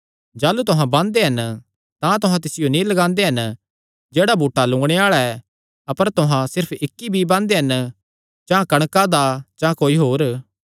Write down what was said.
जाह़लू तुहां बांदे हन तां तुहां तिसियो नीं लगांदे हन जेह्ड़ा बूटा लंुगणे आल़ा ऐ अपर तुहां सिर्फ इक्क बीई बांदे हन चां कणका दा चां कोई होर